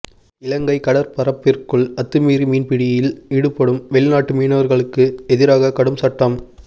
இலங்கை கடற்பரப்பிற்குள் அத்துமீறி மீன்பிடியில் ஈடுபடும் வெளிநாட்டு மீனவர்களுக்கு எதிராக கடும் சட்டம்